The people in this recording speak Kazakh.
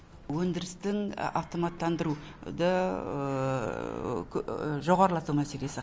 өндірістің автоматтандыруды жоғарылату мәселесі